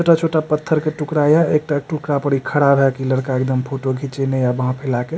छोटा-छोटा पत्थर के टुकड़ा ये एकटा टुकड़ा पे इ खड़ा भाए के लड़का एकदम फोटो घिचैने ये बाह फैला के ।